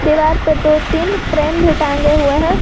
दीवार पर दो तीन फ्रेम भी टांगे हुए हैं।